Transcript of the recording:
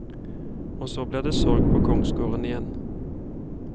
Og så ble det sorg på kongsgården igjen.